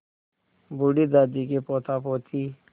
बूढ़ी दादी के पोतापोती